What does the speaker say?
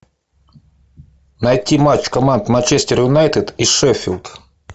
найти матч команд манчестер юнайтед и шеффилд